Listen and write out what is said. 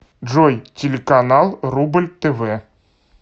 джой телеканал рубль тв